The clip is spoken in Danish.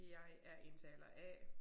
Jeg er indtaler A